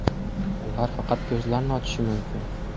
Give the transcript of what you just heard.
Ular faqat ko‘zlarini ochishi mumkin.